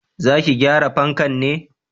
Za ki gyara fanka ne?